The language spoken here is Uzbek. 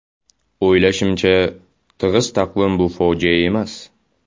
O‘ylashimcha, tig‘iz taqvim bu fojia emas.